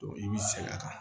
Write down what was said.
i b'i sɛgɛn a kan